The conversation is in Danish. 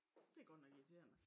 Det godt nok irriterende